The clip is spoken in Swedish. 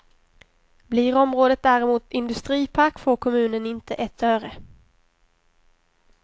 Blir området däremot industripark får kommunen inte ett öre.